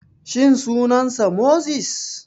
Shin sunan sa Moses?